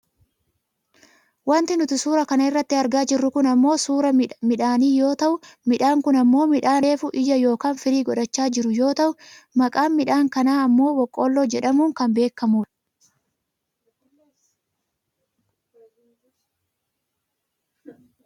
Wanti nuti suuraa kana irratti argaa jirru kun ammoo suuraa midhaanii yoo yoo ta'u midhaan kun ammoo midhaan reefu ija yookaan firii godhachaa jiru yoo ta'u maqaan midhaan kanaa ammoo boqqoolloo jedhamuun kan beekkamudha